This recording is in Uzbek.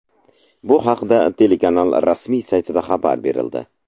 Bu haqda telekanal rasmiy saytida xabar berildi.